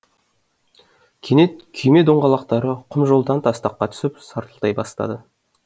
кенет күйме доңғалақтары құм жолдан тастаққа түсіп сартылдай бастады